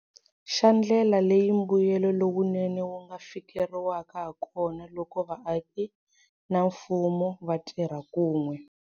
Xa ndlela leyi mbuyelo lowunene wu nga fikeleriwaka hakona loko vaaki na mfumo va tirha kun'we.